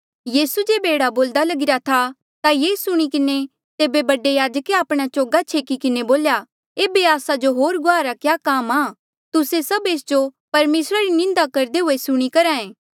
यीसू जेबे एह्ड़ा बोल्दा लगीरा था ता ये सुणी किन्हें तेबे बडे याजके आपणा चोगा छेकी किन्हें बोल्या एेबे आस्सा जो होर गुआहा रा क्या काम आ तुस्से सभ एस जो परमेसरा री निंदा करदे हुए सुणी करहा ऐें